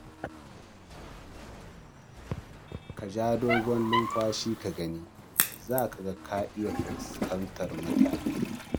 Ka ja dogon numfashi ka gani, za ka ga ka iya fuskantar mutane